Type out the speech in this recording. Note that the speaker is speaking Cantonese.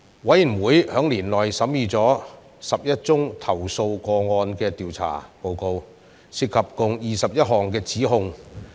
委員會在年內審議了11宗投訴個案的調查報告，涉及共21項指控。